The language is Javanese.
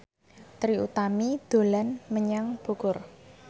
Trie Utami dolan menyang Bogor